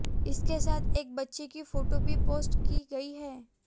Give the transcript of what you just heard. इसके साथ एक बच्चे की फोटो भी पोस्ट की गई है